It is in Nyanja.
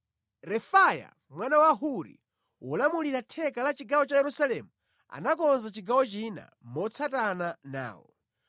Refaya mwana wa Huri wolamulira theka la chigawo cha Yerusalemu anakonza chigawo china motsatana nawo.